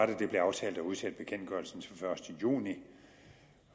det blev aftalt at udsætte bekendtgørelsen til den første juni